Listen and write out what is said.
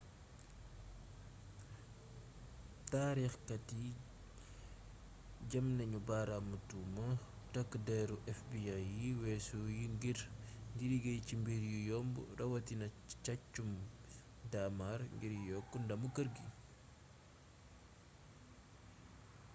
taarix kat yi jam nañu baaraamu tuuma takk déru fbi yu wésu yi ngir di liggéey ci mbir yu yomb yi rawatina sàccum daamar ngir yokk ndamu keer gi